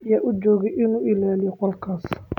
Yaa u joogay inuu ilaaliyo goolkaas?